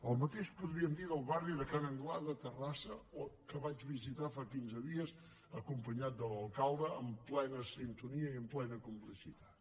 el mateix dia podríem dir del barri de ca n’anglada a terrassa que vaig visitar fa quinze dies acompanyat de l’alcalde en plena sintonia i en plena complicitat